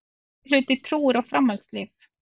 Meirihluti trúir á framhaldslíf